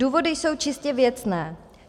Důvody jsou čistě věcné.